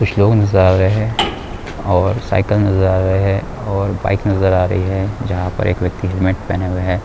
कुछ लोग नज़र आ रहे है और साइकिल नज़र आ रहे है। और बाइक नज़र आ रही है। जहा पर एक व्यक्ति हेलमेट पहने हुए है।